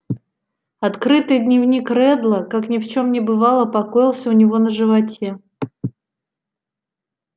открытый дневник реддла как ни в чём не бывало покоился у него на животе